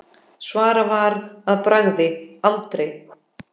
Svarað var að bragði: aldrei.